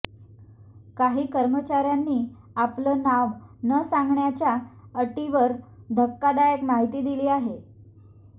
काही कर्मचाऱ्यांनी आपलं नाव न सांगण्याच्या अटीवर धक्कादायक माहिती दिली आहे